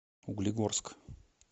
углегорск